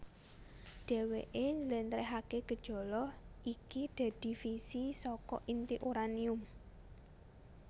Dheweké njlentrehaké gejala iki dadi fisi saka inti uranium